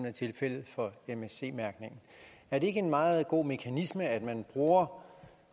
er tilfældet for msc mærkningen er det ikke en meget god mekanisme at man bruger